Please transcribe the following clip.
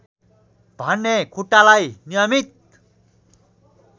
भने खुट्टालाई नियमित